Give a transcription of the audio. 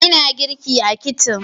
Ina girki a kicin